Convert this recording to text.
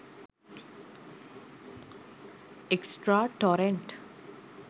extra torrent